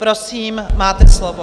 Prosím, máte slovo.